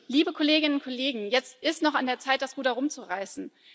Liebe Kolleginnen und Kollegen, jetzt ist es noch an der Zeit, das Ruder rumzureißen.